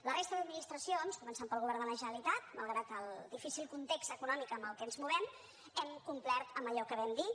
la resta d’administracions començant pel govern de la generalitat malgrat el difícil context econòmic en què ens movem hem complert amb allò que vam dir